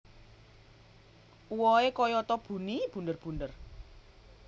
Uwohe kayata buni bunder bunder